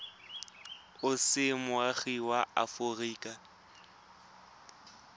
o se moagi wa aforika